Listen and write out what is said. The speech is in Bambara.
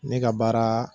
Ne ka baara